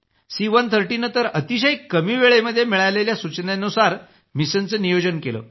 सी130 नं तर अतिशय कमी वेळेत मिळालेल्या सूचनेनुसार मिशनचं नियोजन केलं